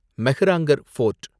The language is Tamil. மெஹ்ராங்கர் ஃபோர்ட்